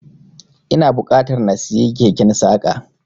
Ina buƙatar na siyi keken saƙa.